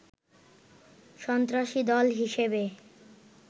সন্ত্রাসী দল হিসেবে